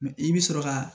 i bɛ sɔrɔ ka